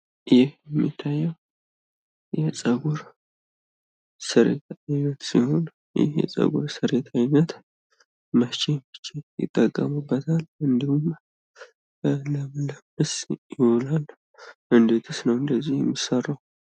ይህ የሚታየው የጸጉር ስርየት ሲሆን ይህ የፀጉር ስርየት አይነት መቼ መቼ ይጠቀሙበታል? እንዲሁም ለምንስ ይውላል እንዴትስ ነው እንደዚህ የሚሰራው?